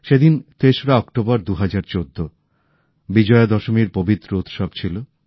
সেদিন তেসরা অক্টোবর ২০১৪ বিজয়া দশমীর পবিত্র উৎসব ছিল